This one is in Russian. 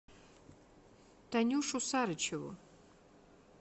танюшу сарычеву